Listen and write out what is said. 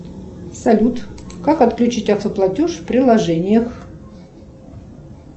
салют как отключить автоплатеж в приложениях